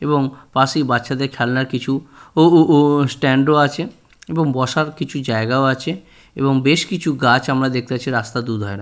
এবং পাশেই বাচ্চাদের খেলনার কিছু ও ও ও স্ট্যান্ড ও আছে এবং বসার কিছু জায়গাও আছে এবং বেশ কিছু গাছ আমরা দেখতে পাচ্ছি রাস্তার দুধারে।